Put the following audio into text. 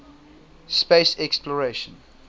space exploration